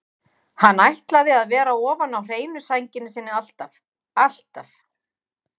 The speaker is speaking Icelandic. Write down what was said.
Hann ætlaði að vera ofan á hreinu sænginni sinni alltaf, alltaf.